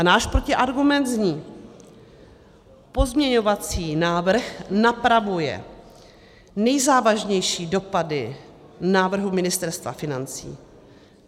A náš protiargument zní: Pozměňovací návrh napravuje nejzávažnější dopady návrhu Ministerstva financí.